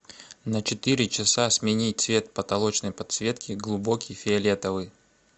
на четыре часа сменить цвет потолочной подсветки глубокий фиолетовый